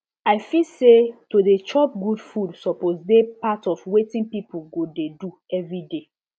i feel say to dey chop good food suppose dey part of wetin people go dey do every day